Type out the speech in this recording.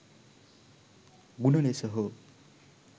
ගුණ ලෙස හෝ